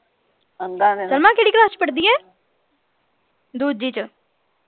ਕਿਹੜੀ ਕਲਾਸ ਚ ਪੜ੍ਹਦੀ ਏ ਦੂਜੀ ਚ